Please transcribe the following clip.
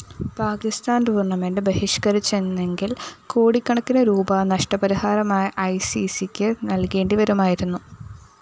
പാക്കിസ്ഥാന്‍ tournament ബഹിഷ്‌കരിച്ചിരുന്നെങ്കില്‍ കോടിക്കണക്കിന് rupee നഷ്ടപരിഹാരമായി ഐസിസിക്ക് നല്‍കേണ്ടിവരുമായിരുന്നു